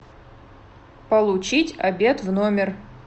получить обед в номер